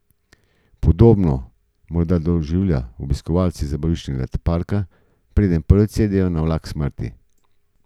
Podobno morda doživljajo obiskovalci zabaviščnega parka, preden prvič sedejo na vlak smrti.